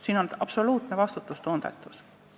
See on absoluutne vastutustundetus.